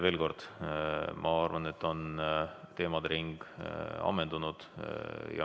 Veel kord: ma arvan, et teemade ring on ammendunud.